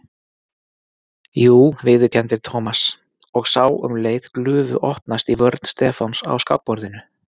Jú viðurkenndi Thomas og sá um leið glufu opnast í vörn Stefáns á skákborðinu.